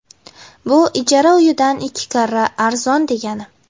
Bu ijara uyidan ikki karra arzon degani.